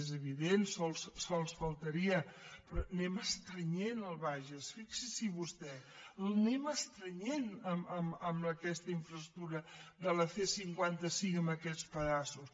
és evident només faltaria però anem estrenyent el bages fixin s’hi vostès l’anem estrenyent amb aquesta infraestructura de la c cinquanta cinc amb aquestes pedaços